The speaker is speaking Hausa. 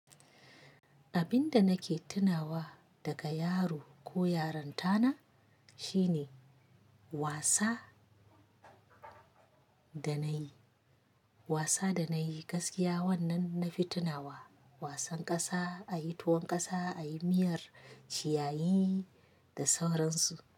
Abin da nake tunawa daga yaro ko yaran tana shine wasa da na yi, wasa da na yi gaskiya wannan na fi tunawa wasan ƙasa, a yi tuwon ƙasa, a yi miyar ciyayi da sauransu.